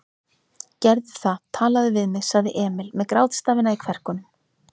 Gerðu það, talaðu við mig, sagði Emil með grátstafina í kverkunum.